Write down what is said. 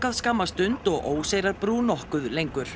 skamma stund og Óseyrarbrú nokkuð lengur